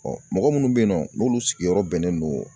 mɔgɔ munnu be yen nɔ n'olu sigiyɔrɔ bɛnnen don